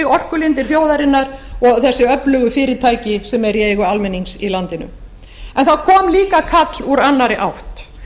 orkulindir þjóðarinnar og þessi öflugu fyrirtæki sem eru í eigu almennings í landinu en það kom líka kall úr annarri átt